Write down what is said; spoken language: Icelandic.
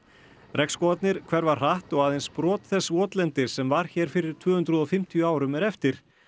regnskógarnir hverfa hratt og aðeins brot þess votlendis sem var hér fyrir tvö hundruð og fimmtíu árum er eftir